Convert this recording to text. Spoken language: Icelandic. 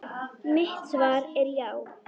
Mitt svar er já.